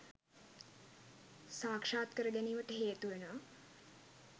සාක්ෂාත් කර ගැනීමට හේතුවනවා.